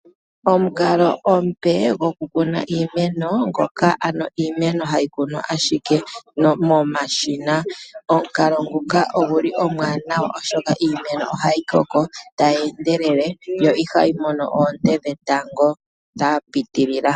Omukalo omupe gokukuna iimeno, ngoka ano iimeno hayi kunwa ashike momashina. Omukalo nguka ogu li omwaanawa, oshoka iimeno ohayi koko tayi endelele, yo ihayi mono oonte dhetango dha pitilila.